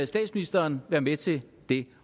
statsministeren være med til det